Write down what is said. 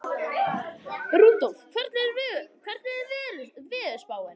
Rudolf, hvernig er veðurspáin?